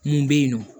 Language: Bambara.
Mun bɛ yen nɔ